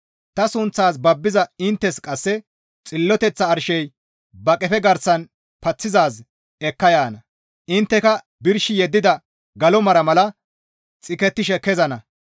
«Ta sunththas babbiza inttes qasse xilloteththa arshey ba qefe garsan paththizaaz ekka yaana; intteka birshi yeddida galo mara mala xikettishe kezana.